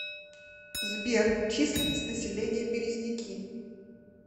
сбер численность населения березники